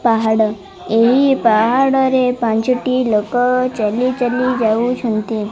ପାହାଡ଼ ଏହି ପାହାଡ଼ରେ ପାଞ୍ଚଟି ଲୋକ ଚାଲି ଚାଲି ଯାଉଅଛନ୍ତି।